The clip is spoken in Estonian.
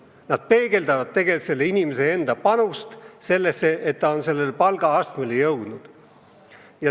Palgad peegeldavad tegelikult inimese enda panust sellesse, et ta on teatud palgaastmele jõudnud.